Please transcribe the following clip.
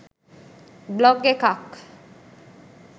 blog එකක්